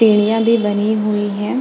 पीड़ियां भी बनी हुई है।